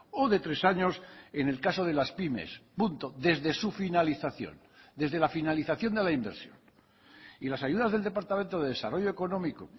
o de tres años en el caso de las pymes punto desde su finalización desde la finalización de la inversión y las ayudas del departamento de desarrollo económico